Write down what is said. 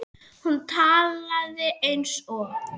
Hún talaði eins og